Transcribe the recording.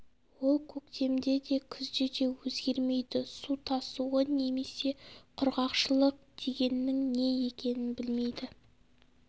ол көктемде де күзде де өзгермейді су тасуы немесе құрғақшылық дегеннің не екенін білмейді